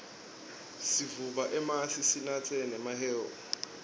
sivuba emasi sinatse nemahewu